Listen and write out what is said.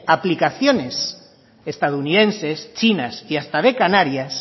aplicaciones estadounidenses chinas y hasta de canarias